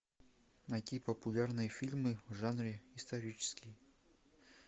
найти популярные фильмы в жанре исторический